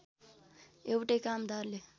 एउटै कामदारले